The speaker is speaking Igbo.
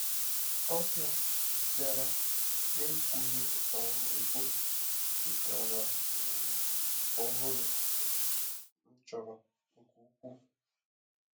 Ọbịa bịara n’ekwughị um ekwu wetara um ikuku ọhụrụ um m chọrọ nke ukwuu.